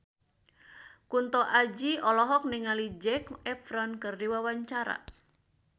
Kunto Aji olohok ningali Zac Efron keur diwawancara